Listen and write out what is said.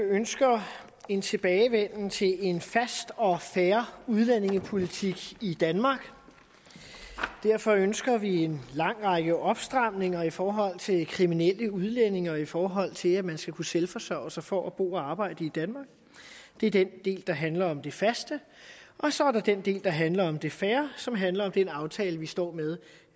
ønsker en tilbagevenden til en fast og fair udlændingepolitik i danmark derfor ønsker vi en lang række opstramninger i forhold til kriminelle udlændinge og i forhold til at man skal kunne selvforsørge sig for at bo og arbejde i danmark det er den del der handler om det faste og så er der den del der handler om det fair som handler om den aftale vi står med